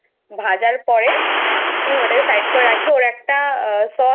ভাজার পরে ওটাকে Side করে রাখি ওর একটা Sauce আছে